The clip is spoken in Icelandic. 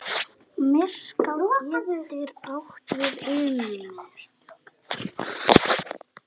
Myrká getur átt við um